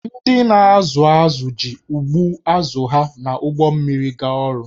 Ndị na-azụ azụ̀ ji ụgbụ azụ̀ ha na ụgbọ mmiri gaa ọrụ